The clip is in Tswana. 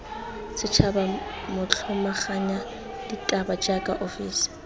setšhaba motlhomaganya ditaba jaaka ofisi